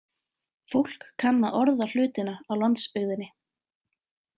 Fólk kann að orða hlutina á landsbyggðinni.